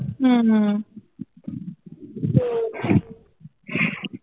উম হম